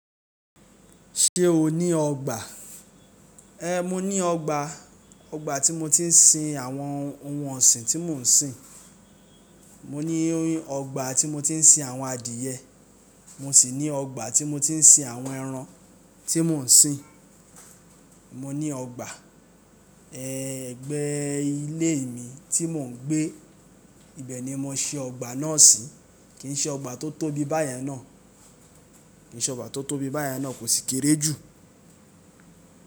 Ṣé o ní ọgbà? Ehn, mo ní ọgbà, ọgbà tí mo ti ń sin àwọn ohun ọ̀sìn tí mò ń sìn. Mo ní ọgbà tí mo ti ń sin àwọn adìẹ, mo sì ní ọgbà tí mo ti ń sin àwọn ẹran tí mò ń sìn. Mo ní ọgbà, ẹgbẹ́ ilé mi tí mò ń gbé, ibẹ̀ ni mo ń ṣe ọgbà náà sí, kì í ṣe ọgbà tó tóbi báyen náà. Kì í ṣe ọgbà tó tóbi báyen náà kò sì kéré jù.